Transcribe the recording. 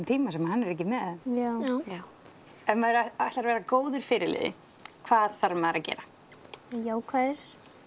tíma sem hann er ekki með ef maður ætlar að vera góður fyrirliði hvað þarf maður að gera jákvæður